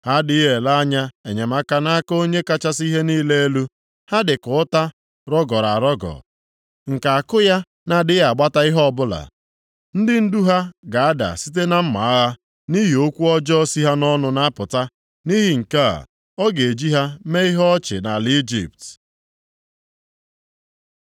Ha adịghị ele anya enyemaka nʼaka Onye kachasị ihe niile elu. Ha dịka ụta rọgọrọ arọgọ, nke àkụ ya na-adịghị agbata ihe ọbụla. Ndị ndu ha ga-ada site na mma agha, nʼihi okwu ọjọọ si ha nʼọnụ na-apụta. Nʼihi nke a, a ga-eji ha mee ihe ọchị nʼala Ijipt.